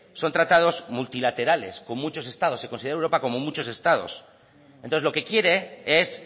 son tratados multilaterales con muchos estados se considera a europa como muchos estados entonces lo que quiere es